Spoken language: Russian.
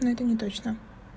ну это не точно